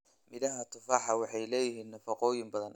Midhaha tufaax waxay leeyihiin nafaqooyin badan.